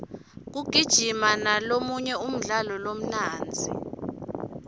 kugijima ngolomunye umdlalo lomnandzi